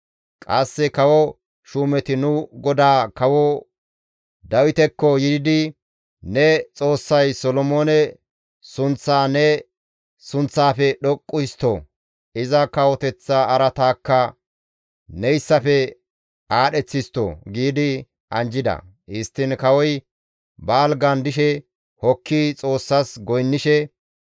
Qasse kawo shuumeti nu godaa kawo Dawitekko yiidi, ‹Ne Xoossay Solomoone sunththaa ne sunththaafe dhoqqu histto! Iza kawoteththa araataakka neyssafe aadheth histto!› giidi anjjida; histtiin kawoy ba algan dishe hokki Xoossas goynnishe,